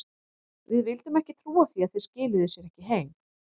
Við vildum ekki trúa því að þeir skiluðu sér ekki heim.